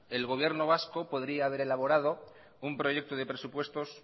el gobierno vasco podría haber elaborado un proyecto de presupuestos